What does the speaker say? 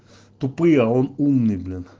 тупые а он умный блин